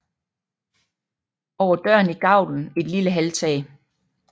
Over døren i gavlen et lille halvtag